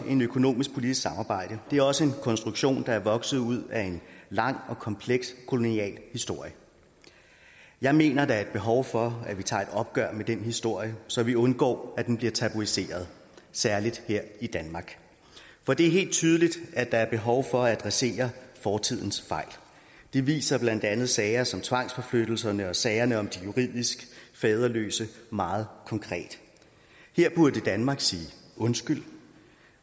økonomisk politisk samarbejde det er også en konstruktion der er vokset ud af en lang og kompleks kolonihistorie jeg mener at der er behov for at vi tager et opgør med den historie så vi undgår at den bliver tabuiseret særlig her i danmark for det er helt tydeligt at der er behov for at adressere fortidens fejl det viser blandt andet sager som tvangsforflyttelserne og sagerne om de juridisk faderløse meget konkret her burde danmark sige undskyld